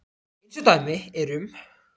Eins og dæmi eru um.